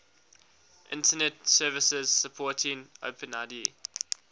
internet services supporting openid